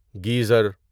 geyser